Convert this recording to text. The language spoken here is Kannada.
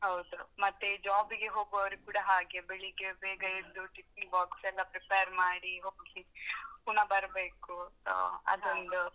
ಹೌದು ಮತ್ತೇ job ಗೆ ಹೋಗುವವರು ಕೂಡಾ ಹಾಗೆ ಬೆಳಿಗ್ಗೆ ಬೇಗ ಎದ್ದು tiffin box ಎಲ್ಲ prepare ಮಾಡಿ ಹೋಗಿ ಪುನಃ ಬರ್ಬೇಕು so ಅದೊಂದು.